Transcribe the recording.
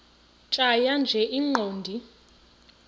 tjhaya nje iqondee